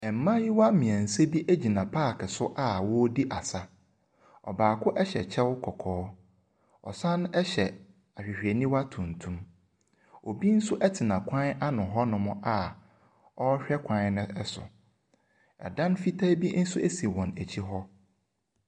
Mmaayewa mmiɛnsa bi gyina park so a wɔredi asa. Aɔbaako hyɛ kyɛw kɔkɔɔ. Ɔsan hyɛ ahwehwɛniwa tuntum. Ebi nso tena kwan ano hɔnom a ɔrehwɛ kwan no so. Ɛdan fitaa bi nso si wɔn akyi hɔ.